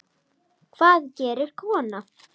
Hvað gerir kona?